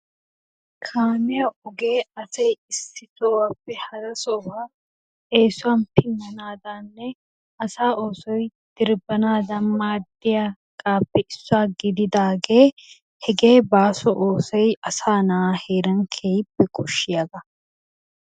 Kamiyaa ogee asayi issi sohuwappe hara sohuwaa esuwanni pinanadanninne asaa osoy dirbanadanni madiyagappe isuwaa gididage hege baso osoyi asaa naa heranni kehippe koshiyabbaa.